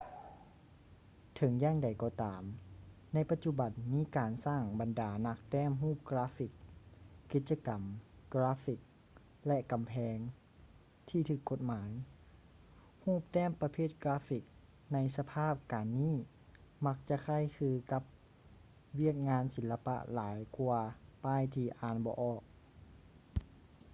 ເຖິງຢ່າງໃດກໍຕາມ ໃນປະຈຸບັນມີການສ້າງບັນດານັກແຕ້ມຮູບກາຟຟິກ ກິດຈະກຳກາຟຟິກ ແລະ ກຳແພງ ທີ່ຖືກກົດໝາຍ ຮູບແຕ້ມປະເພດກາຟຟິກໃນສະພາບການນີ້ມັກຈະຄ້າຍຄືກັບວຽກງານສີລະປະຫຼາຍກວ່າປ້າຍທີ່ອ່ານບໍ່ອອກ